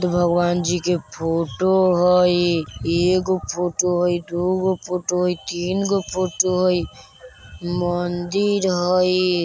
बुद्ध भगवान जी के फोटो हई ए गो फोटो हई दू गो फोटो हई तीन गो फोटो हई मंदिर हई।